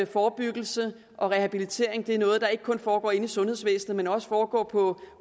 forebyggelse og rehabilitering er noget der ikke kun foregår inde i sundhedsvæsenet men også foregår på